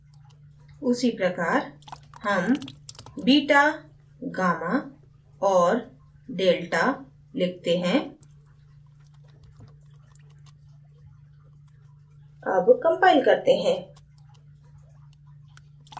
उसी प्रकार हम beta gamma और delta लिखते हैं अब compile करते हैं